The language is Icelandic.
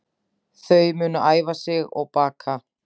Þau munu æfa sig og baka